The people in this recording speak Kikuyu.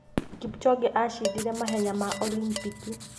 Kipchoge acindire mahenya ma olimpiki.